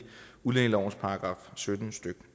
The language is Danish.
udlændingelovens § sytten stykke